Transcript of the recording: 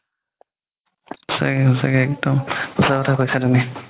সচাকে সচাকে একদম সচা কথা কৈছা তুমি